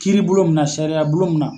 Kiiribulon min na sariya bulon min na.